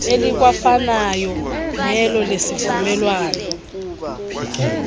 elikwafanayo nelo lesivumelwano